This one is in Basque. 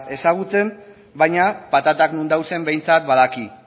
ezagutzen baina patatak non dauden behintzat badaki